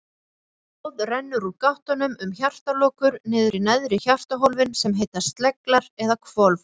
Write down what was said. Blóðið rennur úr gáttunum um hjartalokur niður í neðri hjartahólfin sem heita sleglar eða hvolf.